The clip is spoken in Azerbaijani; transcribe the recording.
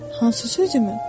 Hansı sözünü?